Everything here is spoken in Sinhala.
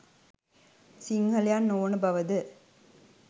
සිංහලයන් නොවන බව ද?